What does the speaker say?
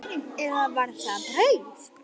Eða var það brauð?